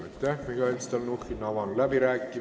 Aitäh, Mihhail Stalnuhhin!